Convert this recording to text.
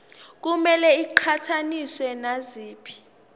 kumele iqhathaniswe naziphi